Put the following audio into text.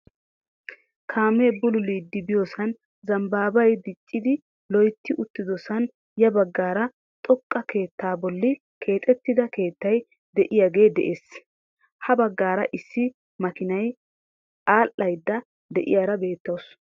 Kaamee bululidi biyoosan zambbaabay diiccidi loytti uttidosan ya baggaara xooqqa keettaa bolli keexxettida keettay de'iyaagee de'ees. ha baggaara issi maakiniyaa adhaydda de'iyaara beettawus.